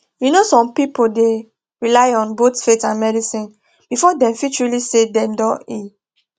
you know some people dey rely on both faith and medicine before dem fit truly feel say dem don heal